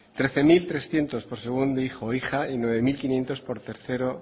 trece mil trescientos por segundo hijo o hija y nueve mil quinientos por tercero